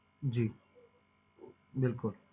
ਜੀ ਬਿਲਕੁਲ